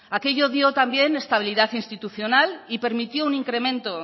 aquello dio también estabilidad institucional y permitió un incremento